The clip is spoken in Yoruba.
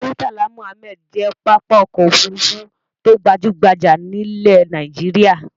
Murtala Muhammad jẹ́ pápá ọkọ̀-òfurufú tó gbajú-gbajà nílẹ̀ Nàìjíríà.